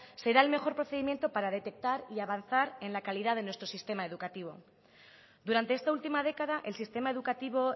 será el mejor procedimiento para detectar y avanzar en la calidad de nuestro sistema educativo durante esta última década el sistema educativo